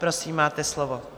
Prosím, máte slovo.